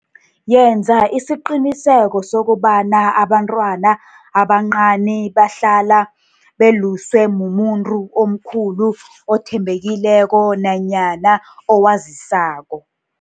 Yenza isiqiniseko sokobana abantwana abancani bahlala beluswe mumuntu omkhulu othembekileko nanyana owazisako.